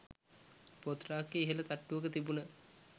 පොත් රාක්කයේ ඉහළ තට්ටුවක තිබුණ